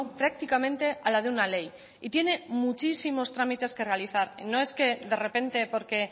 prácticamente a la de una ley y tiene muchísimos trámites que realizar no es que de repente porque